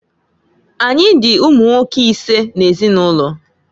Anyị dị ụmụnwoke isee n'ezinụlọ.